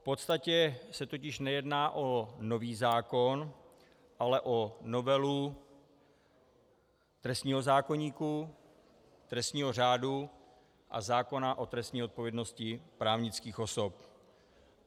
V podstatě se totiž nejedná o nový zákon, ale o novelu trestního zákoníku, trestního řádu a zákona o trestní odpovědnosti právnických osob.